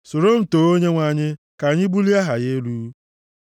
Soro m too Onyenwe anyị; ka anyị bulie aha ya elu.